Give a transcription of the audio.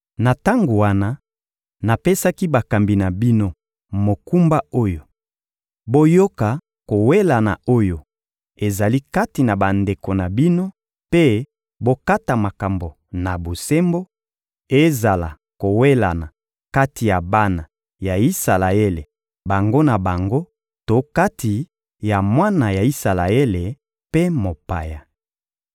Na tango wana, napesaki bakambi na bino mokumba oyo: «Boyoka kowelana oyo ezali kati na bandeko na bino mpe bokata makambo na bosembo; ezala kowelana kati ya bana ya Isalaele bango na bango to kati ya mwana ya Isalaele mpe mopaya.